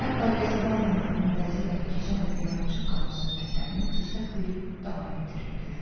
Hətta qəsəbə adamlarının bəziləri keçən dəfə yarımçıq qalan söhbətlərini fürsət bilib davam etdirirdilər.